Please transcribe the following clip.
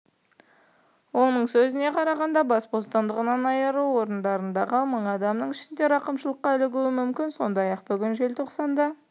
оның сөзіне қарағанда бас бостандығынан айыру орындарындағы мың адамның ішінде рақымшылыққа ілігуі мүмкін сондай-ақ бүгін желтоқсанда